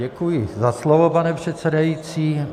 Děkuji za slovo, pane předsedající.